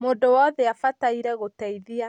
Mũndũ wothe abataire gũteithia